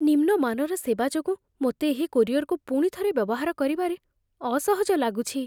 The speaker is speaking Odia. ନିମ୍ନ ମାନର ସେବା ଯୋଗୁଁ ମୋତେ ଏହି କୋରିଅର୍‌କୁ ପୁଣିଥରେ ବ୍ୟବହାର କରିବାରେ ଅସହଜ ଲାଗୁଛି।